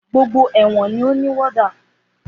Gbógbó èwọ̀n ní o ní wọ́dà.